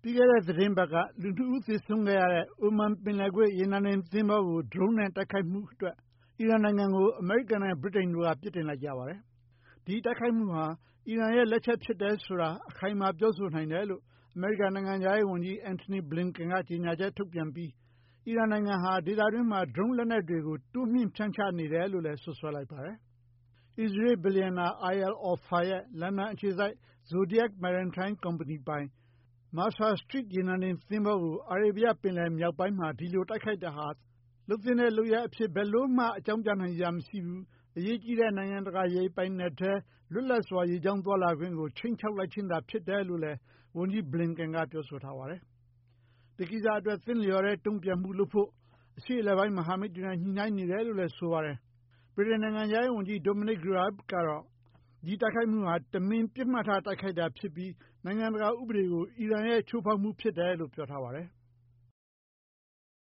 ီးခဲ့တဲ့ သီတင်းပတ်က လူ ၂ ဦး သေဆုံးခဲ့ရတဲ့ အိုမန် ပင်လယ်ကွေ့ ရေနံတင် သဘောၤကို Drone နဲ့ တိုက်ခိုက်ခဲ့မှု အတွက် အီရန်နိုင်ငံကို အမေရိကန်နဲ့ ဗြိတိန်တို့က ပြစ်တင်လိုက်ကြပါတယ်။ ဒီတိုက်ခိုက်မှုဟာ အီရန်ရဲ့ လက်ချက် ဖြစ်တယ်ဆိုတာ အခိုင်အမာ ပြောနိုင်တယ်လို့ အမေရိကန် နိုင်ငံခြားရေး ဝန်ကြီး Antony Blinken က ကြေညာချက် ထုတ်ပြန်လိုက်ပြီး အီရန်နိုင်ငံဟာ ဒေသတွင်းမှာ Drone လက်နက်တွေ တိုးမြှင့် ဖြန့်ချနေတယ်လို့လည်း စွပ်စွဲလိုက်ပါတယ်။ အစ္စရေးလ် ဘီလျံနာ Eyal Ofer ရဲ့ လန်ဒန် အခြေစိုက် Zodiac Maritime ပိုင် ကုမ္ပဏီပိုင် Mercer Street ရေနံတင် သဘောၤကို အာရေဗျ ပင်လယ် မြောက်ပိုင်းမှာ ဒီလို တိုက်ခိုက်တာဟာ သင့်လျော်တဲ့ လုပ်ရပ် အဖြစ် ဘယ်လိုမှ အကြောင်းပြနိုင်စရာ မရှိဘူး၊ အရေးကြီးတဲ့ နိုင်ငံတကာ ရေပိုင်နက်ထဲ လွတ်လပ်စွာ ရေကြောင်း သွားလာခွင့်ကို ခြိမ်းခြောက်ခြင်းသာ ဖြစ်တယ်လို့လည်း ဝန်ကြီး Blinken က ပြောဆိုထားပါတယ်။ ဒီကိစ္စ အတွက် သင့်လျော်တဲ့ တုံ့ပြန်မှု လုပ်ဖို့ အရှေ့အလယ်ပိုင်း မဟာမိတ်တွေနဲ့ ညှိနှိုင်းနေတယ်လို့လည်း ပြောပါတယ်။ ဗြိတိန် နိုင်ငံခြားရေး ဝန်ကြီး Domanic Raab ကလည်း ဒီ တိုက်ခိုက်မှုဟာ တမင် ပစ်မှတ်ထား တိုက်ခိုက်တာ ဖြစ်ပြီး နိုင်ငံတကာ ဥပဒေကို အီရန်ရဲ့ ချိုးဖောက်မှု ဖြစ်တယ်လို့ ပြောပါတယ်။